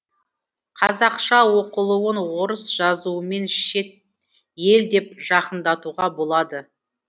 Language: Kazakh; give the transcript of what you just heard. қазақша оқылуын орыс жазуымен шет ел деп жақындатуға болады